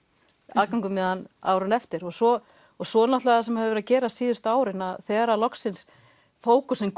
aðganginn árið eftir og svo og svo náttúrulega sem hefur verið að gerast síðustu árin að þegar loksins fókusinn